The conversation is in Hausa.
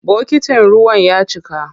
Bokitin ruwan ya cika.